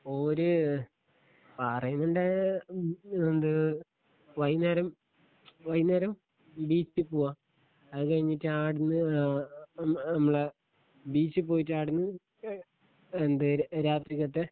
ഓര് പാറേങ്കൽൻ്റെ എന്ത് വൈന്നേരം വൈന്നേരം ബീച്ചി പൂവ അത് കഴിഞ്ഞിട്ട് ആട്ന്ന് ഏ ഞമ്മളെ ബീച്ചി പ്പോയിട്ട് ആട്ന്ന് എന്തേയ് രാത്രിക്കത്തെ